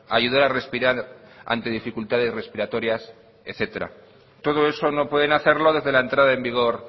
ayudar a respirar ante dificultades respiratorias etcétera todo eso no pueden hacerlo desde la entrada en vigor